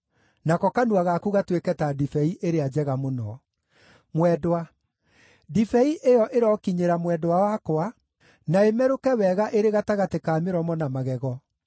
nako kanua gaku gatuĩke ta ndibei ĩrĩa njega mũno. Mwendwa Ndibei ĩyo ĩrokinyĩra mwendwa wakwa, na ĩmerũke wega ĩrĩ gatagatĩ ka mĩromo na magego.